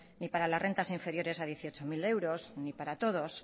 ni para las rentas inferiores a dieciocho mil euros ni para todos